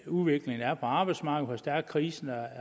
udviklingen er på arbejdsmarkedet og hvor stærk krisen